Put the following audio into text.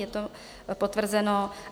Je to potvrzeno.